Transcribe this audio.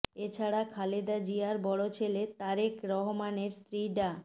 এ ছাড়া খালেদা জিয়ার বড় ছেলে তারেক রহমানের স্ত্রী ডা